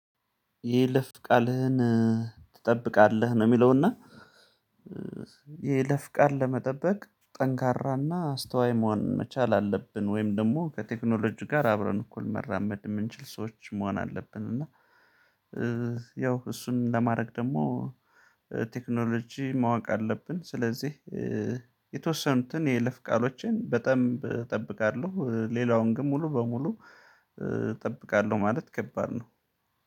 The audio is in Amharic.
የይለፍ ቃልህን ትጠብቃለህ ነው የሚለው። እና የይለፍ ቃል ለመጠበቅ ጠንካራና አስተዋይ መሆን መቻል አለብን ወይም ደግሞ ከቴክኖሎጂ ጋር አብረን እኩል መራመድ ምንችል ሰዎች መሆን አለብን። እና ያው እሱን ለማረግ ደግሞ እ ቴክኖሎጂ ማወቅ አለብን። ስለዚህ እእ የተወሰኑትን የይለፍ ቃሎችን በጣም እጠብቃለሁ። እ ሌላውን ግን ሙሉ በሙሉ እ እጠብቃለሁ ማለት ከባድ ነው